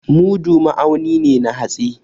Mudu ma'auni ne na hatsi.